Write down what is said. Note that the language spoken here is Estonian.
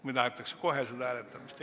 Või tahetakse kohe hääletamist?